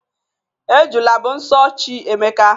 Ejula bụ nso chi Emeka.